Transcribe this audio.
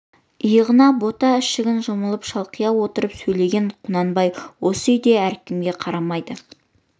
иығына бота ішігін жамылып шалқия отырып сөйлеген құнанбай осы үйде әркімге қарамайды